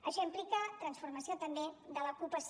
això implica transformació també de l’ocupació